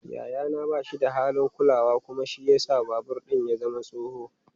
Yayana ba shi da halin kulawa kuma shi ya sa babur ɗin ya zama tsoho.